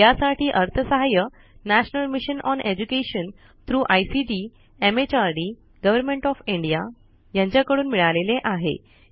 यासाठी अर्थसहाय्य national mission on education through ICT MHRD government of India कडून मिळालेले आहे